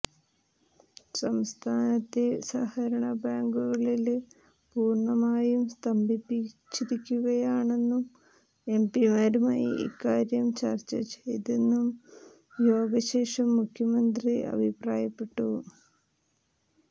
സംസ്ഥാനത്തെ സഹകരണ ബാങ്കുകള് പൂര്ണമായും സ്തംഭിച്ചിരിക്കുകയാണെന്നും എംപിമാരുമായി ഇക്കാര്യം ചര്ച്ച ചെയ്തെന്നും യോഗ ശേഷം മുഖ്യമന്ത്രി അഭിപ്രായപ്പെട്ടു